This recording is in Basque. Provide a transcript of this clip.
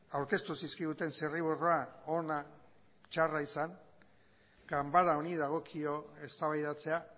aurkeztu zizkiguten zirriborroa ona txarra izan ganbara honi dagokio eztabaidatzea